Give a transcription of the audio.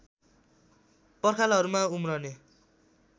पर्खालहरूमा उम्रने